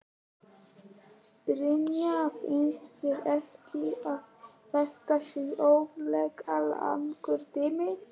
Brynja: Finnst þér ekki að þetta sé óþarflega langur tími?